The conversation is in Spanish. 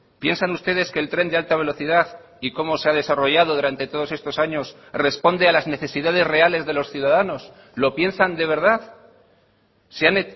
piensan ustedes que el tren de alta velocidad y cómo se ha desarrollado durante todos estos años responde a las necesidades reales de los ciudadanos lo piensan de verdad se han